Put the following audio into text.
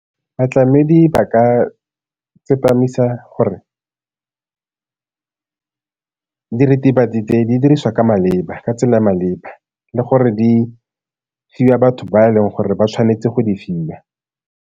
Batlamedi ba ka tsepamisa gore diritibatsi tse di diriswa ka tsela e maleba le gore di fiwa batho ba e leng gore ba tshwanetse go di fiwa.